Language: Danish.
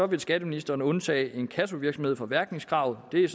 vil skatteministeren undtage inkassovirksomhed fra mærkningskravet det er